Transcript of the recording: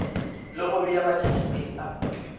le go bea matšatšikgwedi a